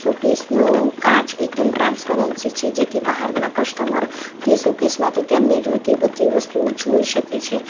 સોકેસ નો કાચ એકદમ ટ્રાન્સપરન્સી છે જેથી બહારના કસ્ટમર તે સોકેસ માંથી તેમને જોઈતી બધી વસ્તુઓ જોઈ શકે છે.